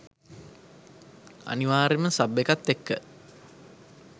අනිවාර්යෙන්ම සබ් එකත් එක්ක